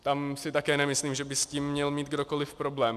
Tam si také nemyslím, že by s tím měl mít kdokoliv problém.